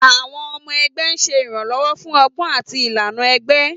Àwọn ọmọ ẹgbẹ́ ń ṣe ìrànlọ́wọ́ fún ọgbọ́n àti ìlànà ẹgbẹ́.